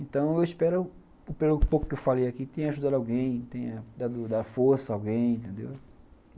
Então eu espero, pelo pouco que eu falei aqui, que tenha ajudado alguém, tenha dado força a alguém, entendeu?